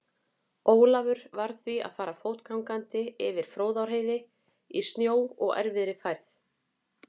Ólafur varð því að fara fótgangandi yfir Fróðárheiði í snjó og erfiðri færð.